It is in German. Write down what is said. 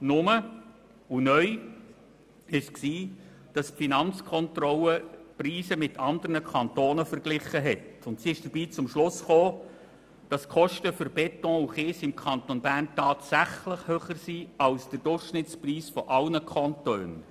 Neu ist, dass die Finanzkontrolle die Preise mit anderen Kantonen verglich und zum Schluss kam, dass die Kosten für Beton und Kies im Kanton Bern tatsächlich über dem Durchschnittspreis aller Kantone liegen.